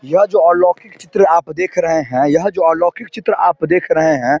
यह जो अलौकिक चित्र आप देख रहे हैं यह जो अलौकिक चित्र आप देख रहे हैं।